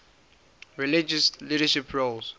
religious leadership roles